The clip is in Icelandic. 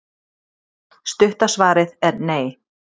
Stutta svarið er nei.